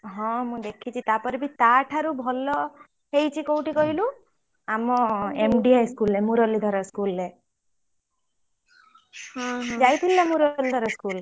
ହଁ ମୁ ଦେଖିଛି ତାପରେ ବି ଟା ଠାରୁ ଭଲ ହେଇଛି କୋଉଠି କହିଲୁ ଆମ M.D high school ରେ ମୁରଲିଧର school ରେ ଯାଇଥିଲୁ ନା ମୁରଲିଧର school ?